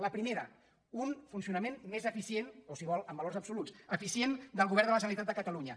la primera un funcionament més eficient o si vol amb valors absoluts eficient del govern de la generalitat de catalunya